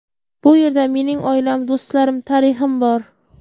Bu yerda mening oilam, do‘stlarim, tarixim bor.